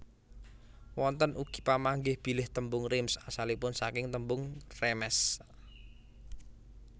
Wonten ugi pamanggih bilih tembung Reims asalipun saking tembung Rèmes